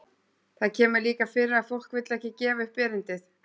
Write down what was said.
Það kemur líka fyrir að fólk vill ekki gefa upp erindið.